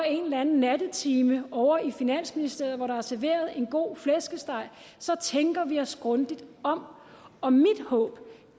en eller anden nattetime ovre i finansministeriet hvor der bliver serveret en god flæskesteg så tænker vi os grundigt om og mit håb